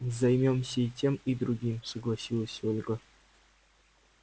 займёмся и тем и другим согласилась ольга